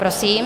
Prosím.